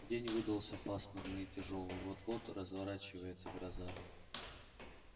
день выдался пасмурный и тяжёлый вот-вот разворачивается гроза